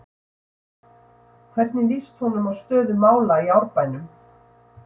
Hvernig lýst honum á stöðu mála í Árbænum?